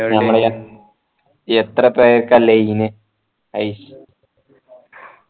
നമ്മളെ എത്ര പേർക്കാ line ഐശ്